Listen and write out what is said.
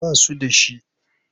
Ba su da shi.